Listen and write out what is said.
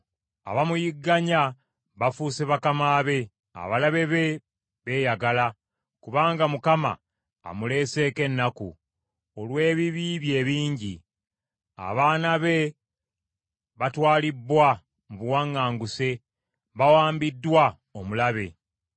Abamuyigganya bafuuse bakama be; abalabe be beeyagala, kubanga Mukama amuleeseeko ennaku, olw’ebibi bye ebingi. Abaana be batwalibbwa mu buwaŋŋanguse, bawambiddwa omulabe.